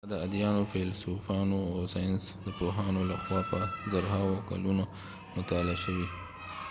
دا د اديانو ،فیلسوفانو او ساینس د پوهانو له خوا په زرهاو کلونه مطالعه شوي